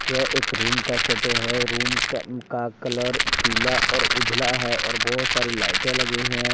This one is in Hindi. यह एक रूम का फोटो है रूम का का कलर पीला और उजला है और बहुत सारी लाइटें लगी हैं।